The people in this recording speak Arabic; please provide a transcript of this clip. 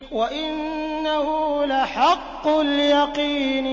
وَإِنَّهُ لَحَقُّ الْيَقِينِ